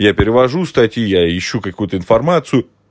я перевожу статью я ищу какую-то информацию